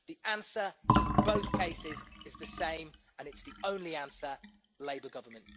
The answer in both cases is the same, and it's the only answer labour government.